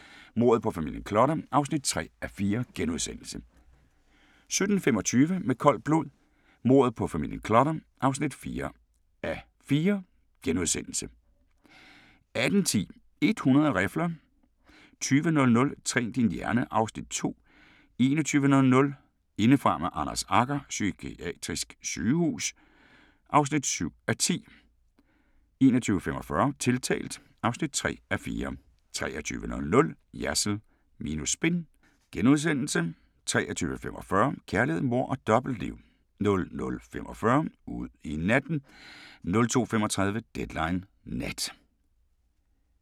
16:40: Med koldt blod – mordet på familien Clutter (3:4)* 17:25: Med koldt blod – mordet på familien Clutter (4:4)* 18:10: 100 rifler 20:00: Træn din hjerne (Afs. 2) 21:00: Indefra med Anders Agger – Psykiatrisk sygehus (7:10) 21:45: Tiltalt (3:4) 23:00: Jersild minus spin * 23:45: Kærlighed, mord og dobbeltliv 00:45: Ud i natten 02:35: Deadline Nat